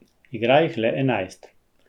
Igra jih le enajst.